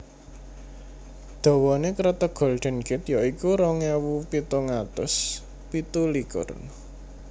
Dawané Kreteg Golden Gate ya iku rong ewu pitung atus pitu likur